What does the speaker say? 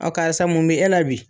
Ɔ karisa mun bi e la bi?